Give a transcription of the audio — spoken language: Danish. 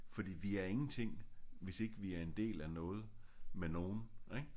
Fordi vi er ingenting hvis ikke vi er en del af noget med nogen ik